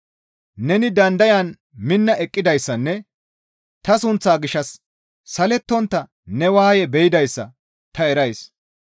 Neni dandayan minna eqqidayssanne ta sunththaa gishshas salettontta ne waaye be7idayssa ta erays.